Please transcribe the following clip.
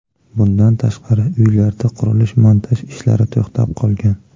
Bundan tashqari, uylarda qurilish-montaj ishlari to‘xtab qolgan.